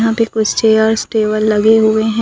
यहां पे कुछ चेयर्स टेबल लगे हुए हैं।